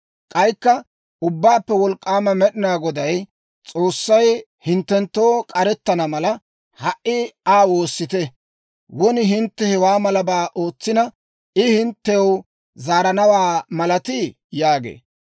K'aykka Ubbaappe Wolk'k'aama Med'ina Goday, «S'oossay hinttenttoo k'arettana mala, ha"i Aa woossite. Won hintte hewaa malabaa ootsina, I hinttew zaaranawaa malatii?» yaagee.